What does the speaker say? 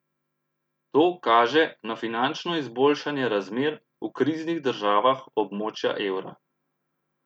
To kaže na finančno izboljšanje razmer v kriznih državah območja evra.